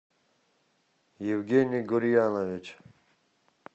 евгений гурьянович